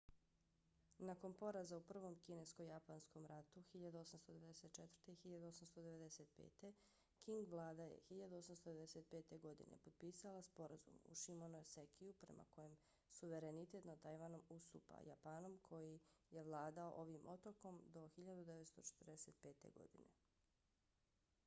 nakon poraza u prvom kinesko-japanskom ratu 1894-1895 qing vlada je 1895. godine potpisala sporazum u shimonosekiju prema kojem suverenitet nad tajvanom ustupa japanom koji je vladao ovim otokom do 1945. godine